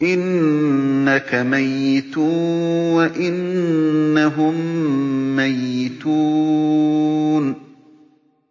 إِنَّكَ مَيِّتٌ وَإِنَّهُم مَّيِّتُونَ